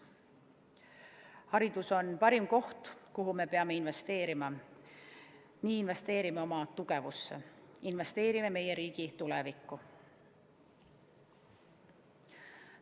Haridus on parim koht, kuhu me peame investeerima, nii investeerime oma tugevusse ja meie riigi tulevikku.